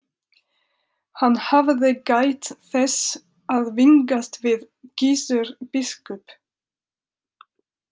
Hann hafði gætt þess að vingast við Gizur biskup.